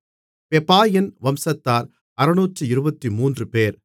பெபாயின் வம்சத்தார் 623 பேர்